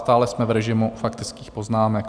Stále jsme v režimu faktických poznámek.